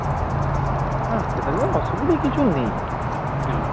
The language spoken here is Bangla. হ্যাঁ সেটা নিয়ে অসুবিধা কিছু নেই